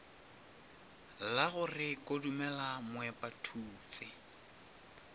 la go re kodumela moepathutse